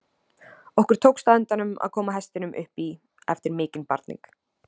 Okkur tókst á endanum að koma hestinum upp í eftir mikinn barning.